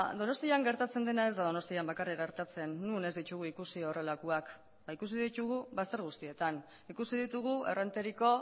donostian gertatzen dena ez da donostian bakarrik gertatzen non ez ditugu ikusi horrelakoak ba ikusi ditugu bazter guztietan ikusi ditugu errenteriko